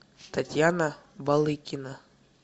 татьяна балыкина